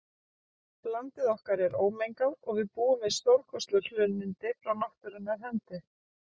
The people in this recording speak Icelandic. Landið okkar er ómengað og við búum við stórkostleg hlunnindi frá náttúrunnar hendi.